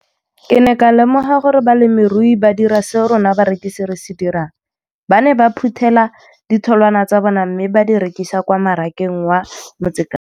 Ke ne ka lemoga gape gore balemirui ba dira seo rona barekisi re se dirang ba ne ba phuthela ditholwana tsa bona mme ba di rekisa kwa marakeng wa Motsekapa.